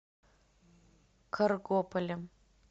каргополем